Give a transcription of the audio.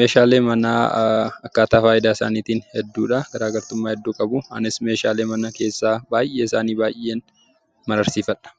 Meeshaalee manaa akkaataa faayidaa isaaniitiin hedduu dha. Garaagartummaa hedduu qabu. Anis meeshaalee mana keessaa baay'ee isaanii baay'een mararsiifadha.